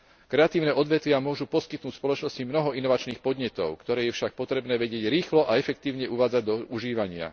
Kreatívne odvetvia môžu poskytnúť spoločnosti mnoho inovačných podnetov, ktoré je však potrebné vedieť rýchlo a efektívne uvádzať do užívania.